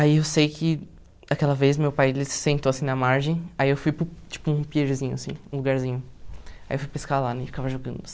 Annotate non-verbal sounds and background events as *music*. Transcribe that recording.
Aí eu sei que aquela vez meu pai ele se sentou assim na margem, aí eu fui para o tipo um *unintelligible* um lugarzinho, aí eu fui pescar lá e ficava jogando.